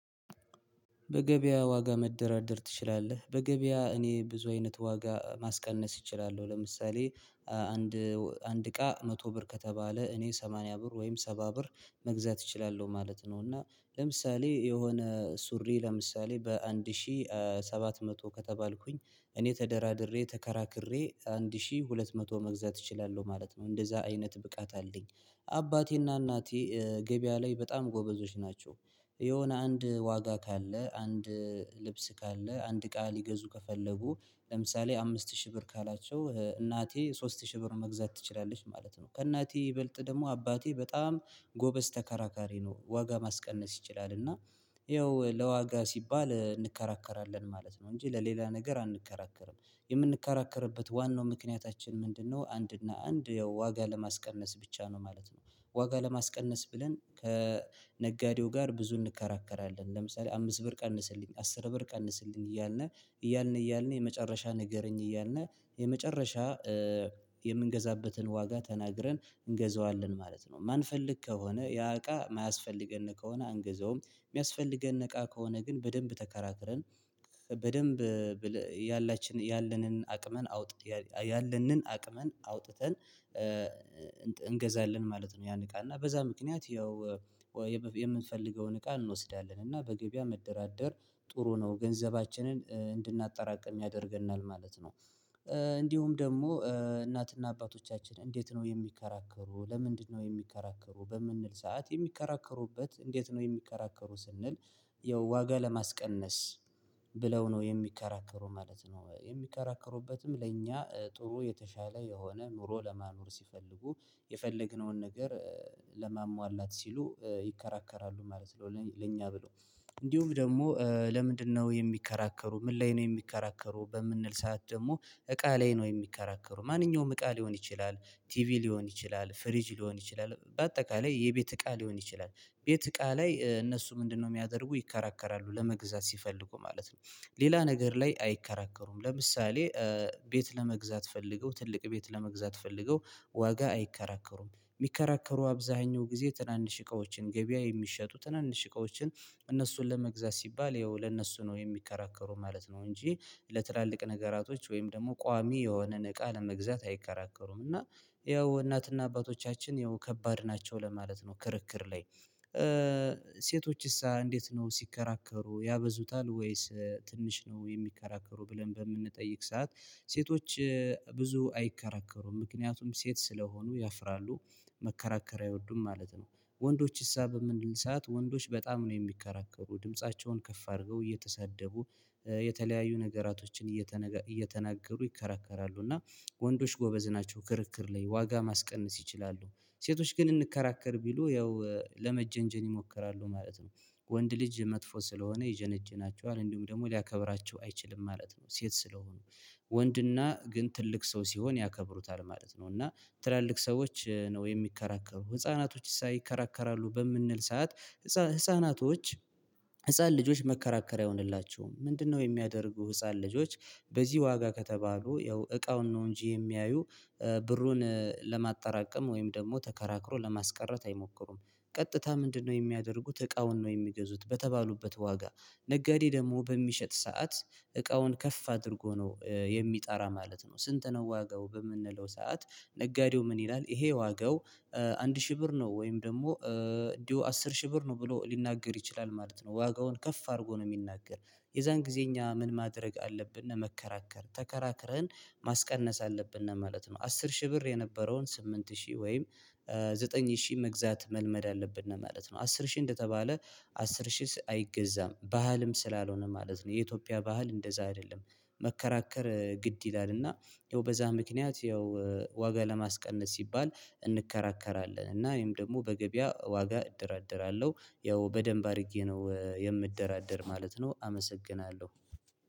በገበያ ዋጋ መደራደር ትችላለህ? በገበያ እኔ ብዙ አይነት ዋጋ ማስቀነስ እችላለሁ ለምሳሌ አንድ አንድ እቃ መቶ ብር ከተባለ እኔ ሰማንያ ብር ወይም ሰባ ብር መግዛት እችላለሁ ማለት ነው። እና ለምሳሌ የሆነ ሱሪ ለምሳሌ በአንድ ሺህ ሰባት መቶ ከተባልኩኝ እኔ ተደራድሬ ተከራክሬ አንድ ሺህ ሁለት መቶ መግዛት እችላለሁ ማለት ነው እንደዛ አይነት ብቃት አለኝ። አባቴና እናቴ ገበያ ላይ በጣም ጎበዞች ናቸው። የሆነ አንድ ዋጋ ካለ አንድ ልብስ ካለ አንድ እቃ ሊገዙ ከፈለጉ ለምሳሌ አምስት ሺህ ብር ካላቸው እናቴ ሶስት ሺህ ብር መግዛት ትችላለች ማለት ነው። ከእናቴ ይበልጥ ደግሞ አባቴ በጣም ጎበዝ ተከራካሪ ነው። ዋጋ ማስቀነስ ይችላል እና ይኸው ለዋጋ ሲባል እንከራከራለን ማለት ነው እንጂ ለሌላ ነገር አንከራከርም። የምንከራከርበት ዋናው ምክንያታችን ምንድነው? አንድ እና አንድ ዋጋ ለማስቀነስ ብቻ ነው ማለት ነው። ዋጋ ለማስቀነስ ብለን ከነጋዴው ጋር ብዙ እንከራከራለን። ለምሳሌ አምስት ብር ቀንስልኝ አስር ብር ቀንስልኝ እያልን እያልን እያልን የመጨረሻ ንገረኝ እያልን የመጨረሻ የምንገዛበትን ዋጋ ተናግረን እንገዛዋለን ማለት ነው። ማንፈልግ ከሆነ ያ እቃ የማያስፈልገን ከሆነ አንግዛውም። የሚያስፈልገን እቃ ከሆነ ግን በደንብ ተከራትረን በደንብ ያላችን ያለንን አቅምን አውጥተን እንገዛለን ማለት ነው። ያን እቃና በዛ ምክንያት ያው የምንፈልገውን እቃ እንወስዳለን። እና በገበያ መደራደር ጥሩ ነው ገንዘባችንን እንድናጠራቅም ያደርገናል ማለት ነው። እንዲሁም ደግሞ እናትና አባቶቻችን እንዴት ነው የሚከራከሩ ለምንድነው የሚከራከሩ? በምንል ሰዓት የሚከራከሩበት እንዴት ነው የሚከራከሩ ስንል? ያው ዋጋ ለማስቀነስ ብለው ነው የሚከራከሩ ማለት ነው። የሚከራከሩበትም ለእኛ ጥሩ የተሻለ የሆነ ኑሮ ለማኖር ሲፈልጉ የፈለግነውን ነገር ለማሟላት ሲሉ ይከራከራሉ ማለት ነው። ለኛ ብሎ እንዲሁም ደግሞ ለምንድነው የሚከራከሩ ምን ላይ ነው የሚከራከሩ በምንል ሰዓት ደግሞ እቃ ላይ ነው የሚከራከሩ። ማንኛውም እቃ ሊሆን ይችላል ቲቪ ሊሆን ይችላል ፍሪጅ ሊሆን ይችላል በአጠቃላይ የቤት እቃ ሊሆን ይችላል። ቤት እቃ ላይ እነሱ ምንድነው የሚያደርጉ ይከራከራሉ ለመግዛት ሲፈልጉ ማለት ነው? ሌላ ነገር ላይ አይከራከሩም። ለምሳሌ ቤት ለመግዛት ፈልገው ትልቅ ቤት ለመግዛት ፈልገው ዋጋ አይከራከሩም የሚከራከሩ አብዛኛው ጊዜ ትናንሽ እቃዎችን ገበያ የሚሸጡ ትናንሽ እቃዎችን እነሱን ለመግዛት ሲባል ያው ለነሱ ነው የሚከራከሩ ማለት ነው። እንጂ ለትላልቅ ነገራቶች ወይም ደግሞ ቋሚ የሆነን እቃ ለመግዛት አይከራከሩም። እና ያው እናትና አባቶቻችን ያው ከባድ ናቸው ለማለት ነው። ክርክር ላይ ሴቶችስ እንዴት ነው ሲከራከሩ ያበዙታል? ወይስ ትንሽ ነው የሚከራከሩ? ብለን በምንጠይቅ ሰዓት ሴቶች ብዙ አይከራከሩም ምክንያቱም ሴት ስለሆኑ ያፍራሉ መከራከር አይወዱም ማለት ነው። ወንዶች እሳ በምንል ሰዓት ወንዶች በጣም ነው የሚከራከሩ ድምፃቸውን ከፍ አድርገው እየተሳደቡ የተለያዩ ነገራቶችን እየተናገሩ ይከራከራሉ። እና ወንዶች ጎበዝ ናቸው ክርክር ላይ ዋጋ ማስቀነስ ይችላሉ። ሴቶች ግን እንከራከር ቢሉ ያው ለመጀንጀን ይሞክራሉ ማለት ነው። ወንድ ልጅ መጥፎ ስለሆነ ይዘነጅናቸዋል እንዲሁም ደግሞ ሊያከብራቸው አይችልም ማለት ነው። ሴት ስለሆኑ ወንድና ግን ትልቅ ሰው ሲሆን ያከብሩታል ማለት ነው። እና ትላልቅ ሰዎች ነው የሚከራከሩ? ህፃናቶች ይከራከራሉ በምንል ሰዓት? ህፃናቶች ህፃን ልጆች መከራከሪያ አይሁንላቸውም። ምንድነው? የሚያደርጉ ህፃን ልጆች በዚህ ዋጋ ከተባሉ ያው እቃውን ነው እንጂ የሚያዩ። ብሩን ለማጠራቀም ወይም ደግሞ ተከራክሮ ለማስቀረት አይሞክሩም። ቀጥታ ምንድነው? የሚያደርጉት እቃውን ነው የሚገዙት በተባሉበት ዋጋ። ነጋዴ ደግሞ በሚሸጥ ሰዓት እቃውን ከፍ አድርጎ ነው የሚጠራ ማለት ነው። ስንት ነው ዋጋው በምንለው ሰዓት? ነጋዴው ምን ይላል? ይሄ ዋጋው። አንድ ሺህ ብር ነው ወይም ደግሞ እንዲሁ አስር ሺህ ብር ነው ብሎ ሊናገር ይችላል ማለት ነው ዋጋውን ከፍ አድርጎ ነው የሚናገር። የዛን ጊዜ እኛ ምን ማድረግ አለብን? እና መከራከር ተከራክረን ማስቀነስ አለብን እና ማለት ነው። አስር ሺህ ብር የነበረውን ስምንት ሺህ ወይም ዘጠኝ ሺህ መግዛት መልመድ አለብን ነው ማለት ነው። አስር ሺህ እንደተባለ አስር ሺህ አይገዛም ባህልም ስላልሆነ ማለት ነው። የኢትዮጵያ ባህል እንደዛ አይደለም። መከራከር ግድ ይላል። እና ይኸው በዛ ምክንያት ያው ዋጋ ለማስቀነስ ሲባል እንከራከራለን እና ወይም ደግሞ በገበያ ዋጋ እደራደራለሁ። ያው በደንብ አድርጌ ነው የምደራደር ማለት ነው። አመሰግናለሁ።